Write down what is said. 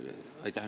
Aitäh!